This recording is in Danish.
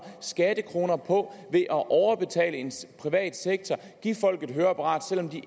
skattekroner på at overbetale en privat sektor at give folk et høreapparat selv om de